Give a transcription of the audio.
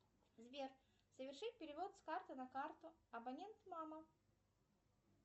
сбер совершить перевод с карты на карту абонент мама